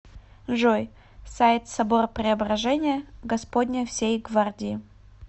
джой сайт собор преображения господня всей гвардии